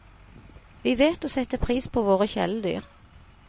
Vi vet å sette pris på våre kjæledyr.